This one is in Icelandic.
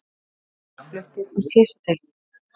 Feðgar fluttir á slysadeild